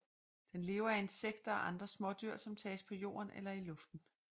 Den lever af insekter og andre smådyr som tages på jorden eller i luften